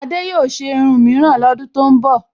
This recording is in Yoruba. Adé yóò ṣe irun míìran lọ́dún tó ń bọ̀